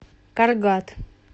каргат